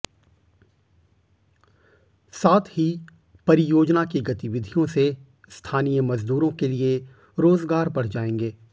साथ ही परियोजना की गतिविधियों से स्थानीय मजदूरों के लिए रोजगार बढ़ जाएंगे